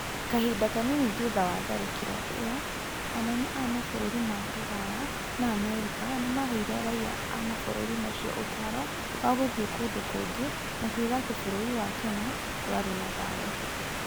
Kahinda kanini thutha wa tharĩkĩro ĩyo, anene a mabũrũri ma Rũraya na Amerika nĩ maaheire raiya a mabũrũri macio ũtaaro wa gũthiĩ kũndũ kũngĩ, makiuga atĩ bũrũri wa Kenya ndwarĩ na thayũ